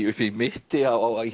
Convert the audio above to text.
upp í mitti